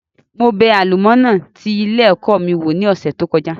Mo bẹ àlọ́múnàì ti ilé ẹ̀kọ́ mi wò ní ọ̀sẹ̀ tí ó kọjá